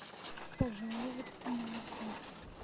пожаловаться на отель